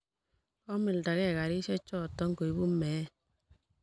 komildagei karishechoto koibu meet